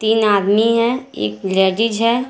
तीन आदमी है एक लेडिस है।